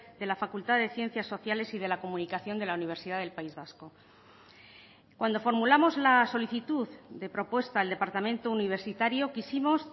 de la facultad de ciencias sociales y de la comunicación de la universidad del país vasco cuando formulamos la solicitud de propuesta al departamento universitario quisimos